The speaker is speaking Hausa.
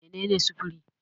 Mene ne sufuri?